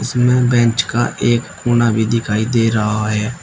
इसमें बेंच का एक कोना भी दिखाई दे रहा है।